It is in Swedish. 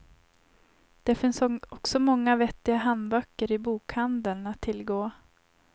Det finns också många vettiga handböcker i bokhandeln att tillgå.